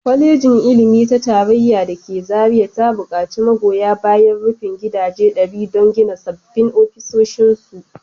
Kwalejin Ilimi ta Tarayya da ke Zariya ta bukaci magoya bayan rufin gidaje ɗari don gina sabbin ofisoshinsu